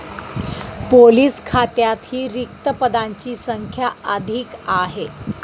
Police खात्यातही रिक्त पदांची संख्या अधिक आहे.